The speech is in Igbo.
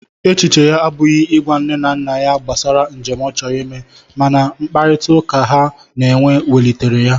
Echiche ya abụghị ịgwa nne na nna ya gbasara njem ọ chọrọ ime, mana mkparịtaụka ha na-enwe welitere ya.